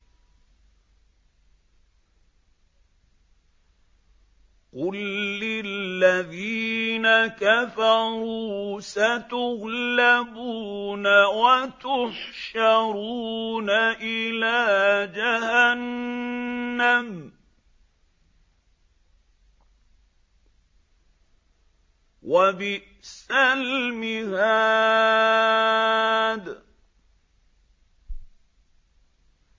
قُل لِّلَّذِينَ كَفَرُوا سَتُغْلَبُونَ وَتُحْشَرُونَ إِلَىٰ جَهَنَّمَ ۚ وَبِئْسَ الْمِهَادُ